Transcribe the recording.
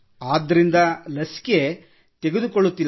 ಆದ್ದರಿಂದ ಲಸಿಕೆ ತೆಗೆದುಕೊಳ್ಳುತ್ತಿಲ್ಲ